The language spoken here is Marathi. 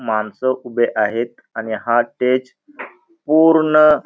मानस उभे आहेत आणि हा स्टेज पूर्ण --